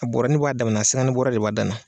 A bɔɔrɔnin b'a damana bɔɔrɔ de b'a dan na.